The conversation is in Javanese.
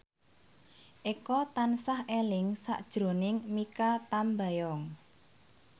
Eko tansah eling sakjroning Mikha Tambayong